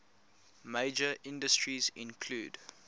major industries include